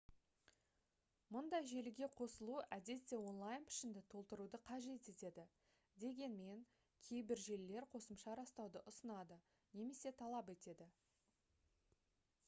мұндай желіге қосылу әдетте онлайн пішінді толтыруды қажет етеді дегенмен кейбір желілер қосымша растауды ұсынады немесе талап етеді